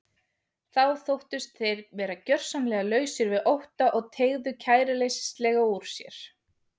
Þá þóttust þeir vera gjörsamlega lausir við ótta og teygðu kæruleysislega úr sér.